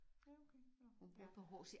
Ja okay nåh ja